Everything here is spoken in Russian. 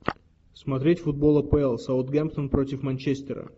смотреть футбол апл саутгемптон против манчестера